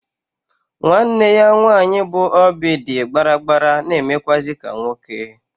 Nwa nne ya nwanyị bụ oby dị gbaragbara na-emekwụazị ka nwoke.